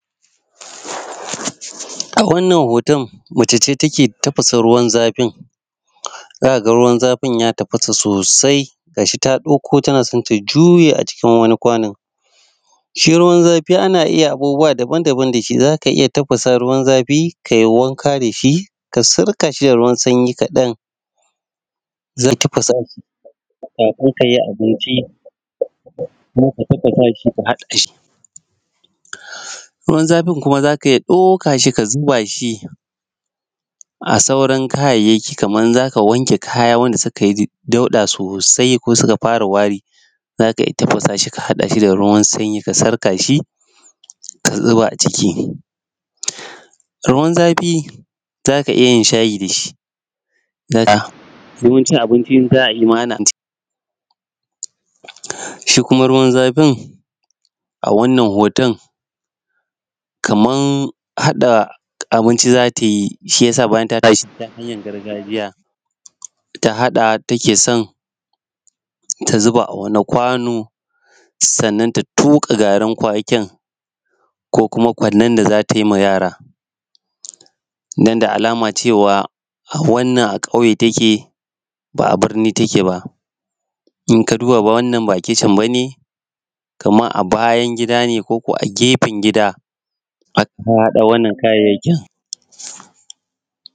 Wannan hoton mace ce take tafasa ruwan zafin za a ga ruwan zafin ya tafasa sosai ga shi ta dauko tana son ta juye a cikin wani kwanon. Shi ruwan zafi ana iya abubuwa daban-daban da shi za ka iya tafasa ruwan zafi ka yinwanka da shi ka sirka shi da ruwan sanyi kaɗan. Za ka tafsa kafin ka yi abincin. Ruwan zafin za ka iya ɗaukar shi ka zuba shi a sauran kayayyakin kamar za ka wanke kaya kamar wanda suka yi dauɗa sosainko suka fara wani. Za ka tafasa shi ka hada da ruwan sanyi ka sarka shi ka zuba a ciki. Ruwan zafi za ka iya yin shayi da shi, wurin cin qbinci za ka iya yi. Shi kuma ruwan zafin a wann hoton kamar hada abinci za ta yi. Shi ya sa bayan ta tashi ta hanyar gargajiya ta hada take son ta zuba a wanin kwano sannan ta tuƙa garin kwakin ko kuma kwanen da za ta yi wa yara. Don da alama cewa wannan a kauye take ba birni birni take ba. Idan ka duba wannan ba kitchen ba ne kamar a bayan gida ne ko kuma a gefen gida aka haɗa wannan kayayyakin.